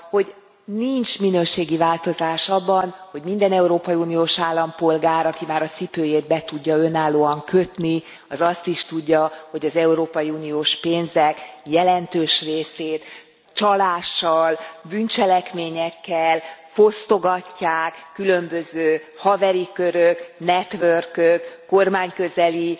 Hogy nincs minőségi változás abban, hogy minden európai uniós állampolgár, aki már a cipőjét be tudja önállóan kötni, az azt is tudja, hogy az európai uniós pénzek jelentős részét csalással, bűncselekményekkel fosztogatják különböző haveri körök, network ök, kormányközeli